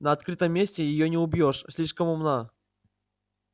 на открытом месте её не убьёшь слишком умна